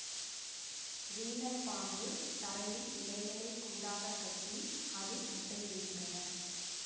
renal பாம்பு தரையில் இலைகளை கூடாகக்கட்டி அதில் முட்டை இடுகின்றன